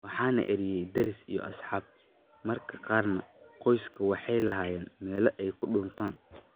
Waxaa na eryay deris iyo asxaab, mararka qaarna qoysasku waxay lahaayeen meelo ay ku dhuuntaan.